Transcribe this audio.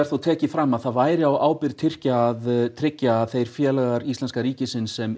þó tekið fram að það væri á ábyrgð Tyrkja að tryggja að þeir félagar Íslamska ríkisins sem